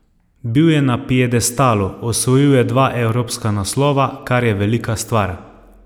Bil je na piedestalu, osvojil je dva evropska naslova, kar je velika stvar.